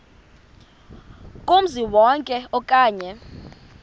kumzi wonke okanye